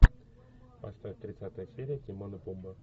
поставь тридцатая серия тимон и пумба